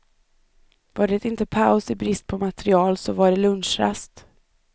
Var det inte paus i brist på material, så var det lunchrast.